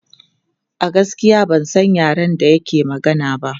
A gaskiya ban san yaren da yake magana ba.